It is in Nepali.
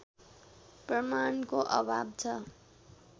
प्रमाणको अभाव छ